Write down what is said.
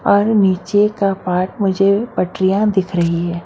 और नीचे का पार्ट मुझे पटरियां दिख रही हैं।